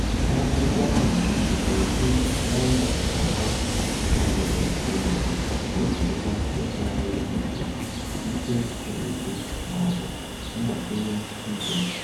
Akwụkwọ ahụ na-eji nọmba atọ ugboro ugboro gosipụta ịtụgharị uche, ike siri ike, ma ọ bụ mgbakwunye ike.